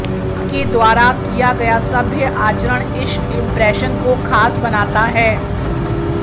आपके द्वारा कियागया सभ्य आचरण इश इंप्रेशन को खास बनाता है